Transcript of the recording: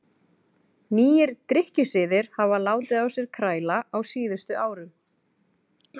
Nýir drykkjusiðir hafa látið á sér kræla á síðustu árum.